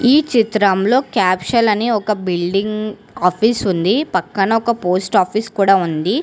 ఈ చిత్రంలో క్యాప్షల్ అని ఒక బిల్డింగ్ ఆఫీస్ ఉంది పక్కన ఒక పోస్ట్ ఆఫీస్ కూడా ఉంది.